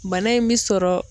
Bana in bɛ sɔrɔ